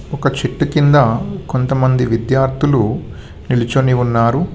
ఒక చెట్టు కింద కొంతమంది విద్యార్థులు నిలుచుని ఉన్నారు.